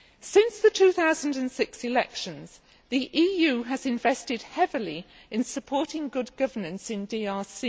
Since the 2006 elections, the EU has invested heavily in supporting good governance in the DRC.